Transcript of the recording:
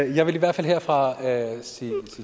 jeg vil i hvert fald herfra sige